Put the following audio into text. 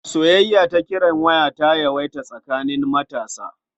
Soyayya ta kiran waya ta yawaita tsakaning matasa.